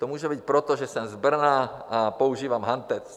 To může být proto, že jsem z Brna a používám hantec.